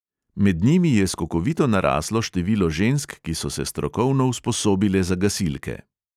Med njimi je skokovito naraslo število žensk, ki so se strokovno usposobile za gasilke.